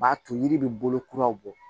B'a to yiri bɛ bolo kuraw bɔ